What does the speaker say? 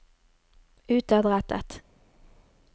utadrettet